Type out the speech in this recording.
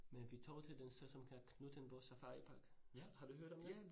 Men vi tog til den sted, som kalder Knuthenborg Safaripark, har du hørt om den?